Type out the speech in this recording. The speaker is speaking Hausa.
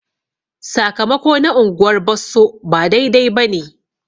Sakamako na unguwar Bosso ba daidai bane.